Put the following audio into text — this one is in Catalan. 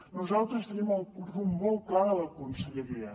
nosaltres tenim el rumb molt clar de la conselleria